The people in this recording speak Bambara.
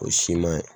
O si man ɲi